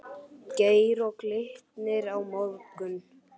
Geir Og Glitnir á morgun?